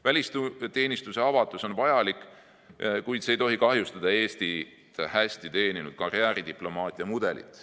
Välisteenistuse avatus on vajalik, kuid see ei tohi kahjustada Eestit hästi teeninud karjääridiplomaatia mudelit.